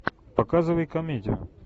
показывай комедию